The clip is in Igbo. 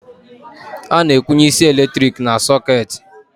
Ana akwụnye isi eletrik na socketị